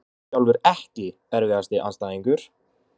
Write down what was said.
Ég sjálfur EKKI erfiðasti andstæðingur?